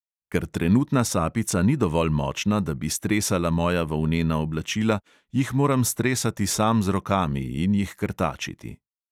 Ker trenutna sapica ni dovolj močna, da bi stresala moja volnena oblačila, jih moram stresati sam z rokami in jih krtačiti.